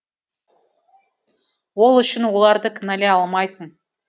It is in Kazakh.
ол үшін оларды кіналай алмайсың